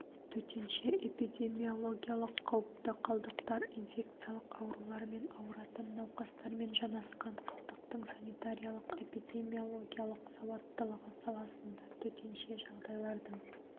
төтенше эпидемиологиялық қауіпті қалдықтар инфекциялық аурулармен ауыратын науқастармен жанасқан халықтың санитариялық-эпидемиологиялық салауаттылығы саласында төтенше жағдайлардың